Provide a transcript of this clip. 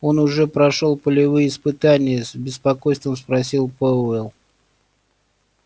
он уже прошёл полевые испытания с беспокойством спросил пауэлл